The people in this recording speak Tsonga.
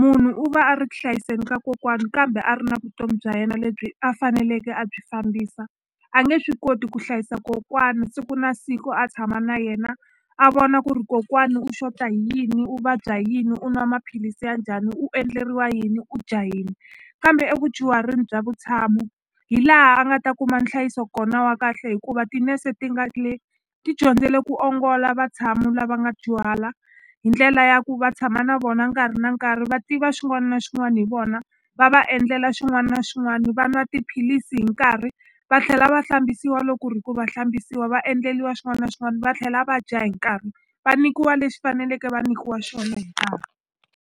munhu u va a ri ku hlayiseni ka kokwani kambe a ri na vutomi bya yena lebyi a faneleke a byi fambisa a nge swi koti ku hlayisa kokwani siku na siku a tshama na yena a vona ku ri kokwani u xota hi yini u vabya yini u nwa maphilisi ya njhani u endleriwa yini u dya yini kambe evudyuhari bya vutshamo hi laha a nga ta kuma nhlayiso kona wa kahle hikuva tinese ti nga le ti dyondzile ku ongola vatshami lava nga dyuhala hi ndlela ya ku va tshama na vona nkarhi na nkarhi va tiva xin'wani na xin'wani hi vona va va endlela xin'wani na xin'wani va nwa tiphilisi hi nkarhi va tlhela va hlambisiwa lo ku ri hi ku va hlambisiwa va endleliwa xin'wani na xin'wani va tlhela va dya hi nkarhi va nikiwa lexi faneleke va nikiwa xona hi nkarhi.